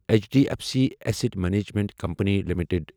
H D F C asset management company limited